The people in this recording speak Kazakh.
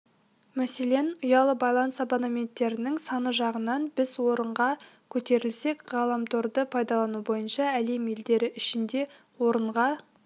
мәселен ұялы байланыс абонеттерінің саны жағынан біз орынға көтерілсек ғаламторды пайдалану бойынша әлем елдері ішінде орынға